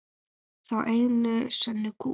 Þá einu sönnu kú.